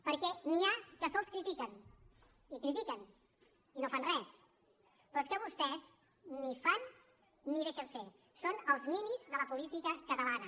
perquè n’hi ha que sols critiquen i critiquen i no fan res però és que vostès ni fan ni deixen fer són els ninis de la política catalana